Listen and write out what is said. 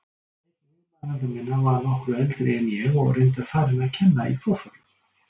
Einn viðmælenda minna var nokkru eldri en ég og reyndar farinn að kenna í forföllum.